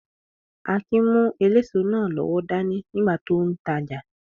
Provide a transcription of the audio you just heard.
Akin mú eléso náà lọ́wọ́ dání nígbà tó n tajà